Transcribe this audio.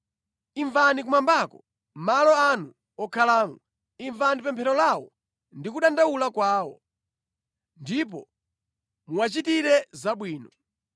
imvani kumwambako, malo anu wokhalamo, imvani pemphero lawo ndi kudandaula kwawo, ndipo muwachitire zabwino.